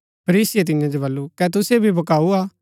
फरीसीये तियां जो वलु कै तुसिओ भी भकाऊ हा